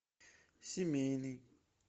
семейный